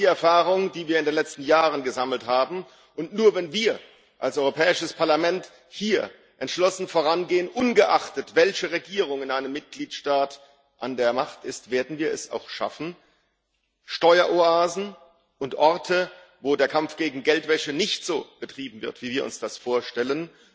Das ist die Erfahrung, die wir in den letzten Jahren gemacht haben, und nur, wenn wir als Europäisches Parlament hier entschlossen vorangehen, ungeachtet dessen, welche Regierung in einem Mitgliedstaat an der Macht ist, werden wir es auch schaffen, gegen Steueroasen und Orte, wo der Kampf gegen Geldwäsche nicht so betrieben wird, wie wir uns das vorstellen,